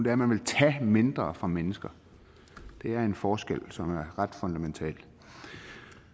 at man vil tage mindre fra mennesker det er en forskel som er ret fundamental